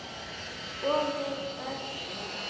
Og við börnin.